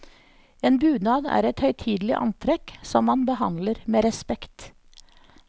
En bunad er et høytidelig antrekk som man behandler med respekt.